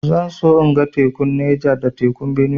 Zan so in ga tekun Neja da tekun Benue